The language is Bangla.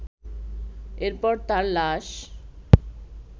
এরপর তার লাশ